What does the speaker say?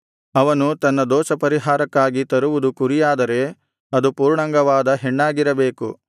ಅವನು ತನ್ನ ದೋಷಪರಿಹಾರಕ್ಕಾಗಿ ತರುವುದು ಕುರಿಯಾದರೆ ಅದು ಪೂರ್ಣಾಂಗವಾದ ಹೆಣ್ಣಾಗಿರಬೇಕು